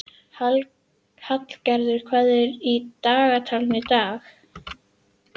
Hallgarður, hvað er í dagatalinu í dag?